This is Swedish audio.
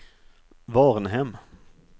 Varnhem